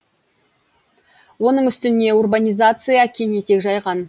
оның үстіне урбанизация кең етек жайған